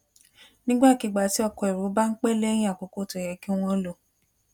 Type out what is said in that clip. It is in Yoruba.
nígbàkigbà tí ọkọ èrò bá ń pẹ léyìn àkókò tó yẹ kí wọn lò